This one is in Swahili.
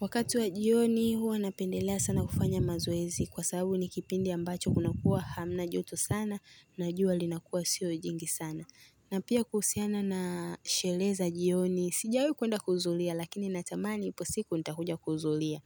Wakati wa jioni huwa napendelea sana kufanya mazoezi kwa sababu ni kipindi ambacho kuna kuwa hamna joto sana na jua linakuwa sio jingi sana. Na pia kuhusiana na sherehe za jioni sijawahi kuenda kuhudhuria lakini natamani ipo siku nitakuja kuhudhuria.